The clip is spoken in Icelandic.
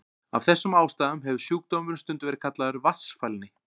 Af þessum ástæðum hefur sjúkdómurinn stundum verið kallaður vatnsfælni.